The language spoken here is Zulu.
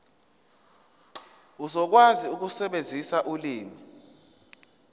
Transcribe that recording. uzokwazi ukusebenzisa ulimi